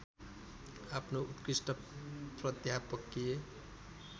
आफ्नो उत्कृष्ट प्राध्यापकीय